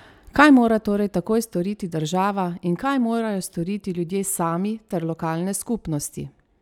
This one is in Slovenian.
Kaj mora torej takoj storiti država in kaj morajo storiti ljudje sami ter lokalne skupnosti?